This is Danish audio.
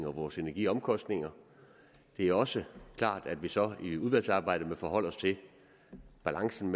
og vores energiomkostninger det er også klart at vi så i udvalgsarbejdet må forholde os til balancen